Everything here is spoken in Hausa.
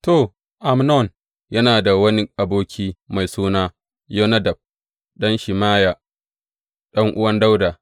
To, Amnon yana da wani aboki mai suna Yonadab, ɗan Shimeya, ɗan’uwan Dawuda.